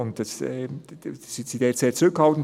» Sie sind diesbezüglich sehr zurückhaltend.